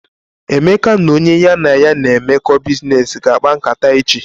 Emeka na onye ya na ya na emeko biznes ga akpa nkata eji.